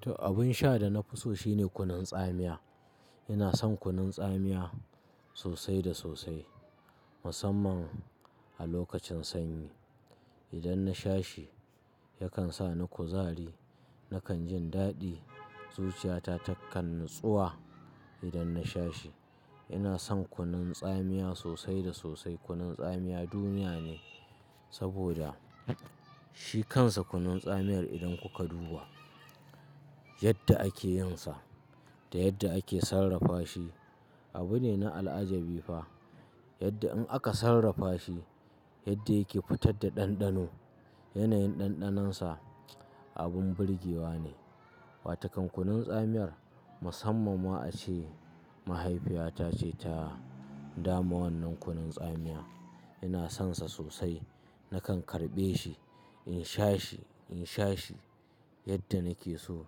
To abin sha da na fi so shine kunun tsamiya. Ina son kunun tsamiya sosai da sosai, musamman a lokacin sanyi. Idan na sha shi yakan sa ni kuzari, nakan jin daɗi. Zuciyata takan natsuwa idan na sha shi. Ina son kunun tsamiya sosai da sosai. Kunun tsamiya duniya ne saboda shi kansa kunun tsamiyar idan kuka duba yadda ake yin sa da yadda ake sarrafa shi abu ne na al'ajabi fa. Yadda in aka sarrafa shi, yadda yake fitar da ɗanɗano, yanayin ɗanɗanonsa abin burgewa ne. Watakan kunun tsamiyar musamman ma a ce mahaifiyata ce ta dama wannan kunun tsamiya. Ina sonsa sosai. Nakan karɓe shi in sha shi, in sha shi yadda nake so,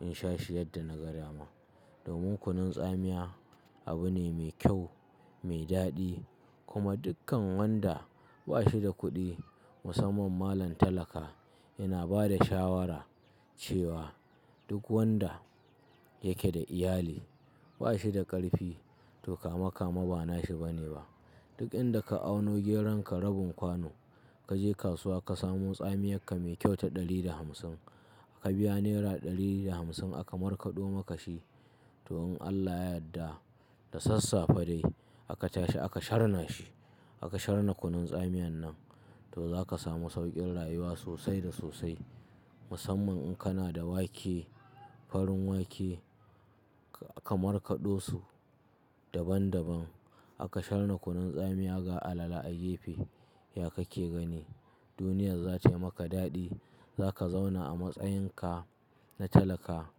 in sha shi yadda na ga dama. Domin kunun tsamiya abu ne mai kyau, mai daɗi kuma dukkan wanda ba shi da kuɗi musamman malam talaka. Ina ba da shawara cewa duk wanda yake da iyali ba shi da ƙarfi to kame-kame ba nashi bane ba. Duk inda ka auno geron ka rabin kwano, ka je kasuwa ka samo tsamiyak ka mai kyau ta ɗari da hamsin ka biya nera ɗari da hamsin aka markaɗo maka shi. To in Allah ya yadda da sassafe dai aka tashi aka sharna shi. Aka sharna kunun tsamiyan nan to za ka samu sauƙin rayuwa sosai da sosai. Musamman in kana da wake, farin wake ka markaɗo su daban daban. Aka sharna kunun tsamiya ga alala a gefe, ya ka ke gani. Duniya za tayi maka daɗi. Za ka zauna a matsayin ka na talaka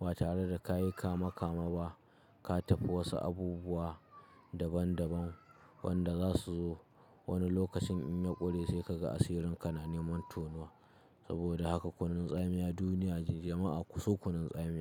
ba tare da ka yi kame-kame ba. Ka tafi wasu abubuwa daban daban wanda za su zo wani lokacin in ya ƙure sai ka ga asirin kanane man tonuwa. Saboda haka kunun tsamiya duniyace jama'a kuso kunun tsamiya.